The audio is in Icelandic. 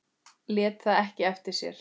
Lét það ekki eftir sér.